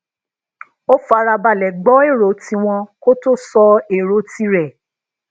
ó fara balè gbó ero tí wón kó tó sọ èrò ti rè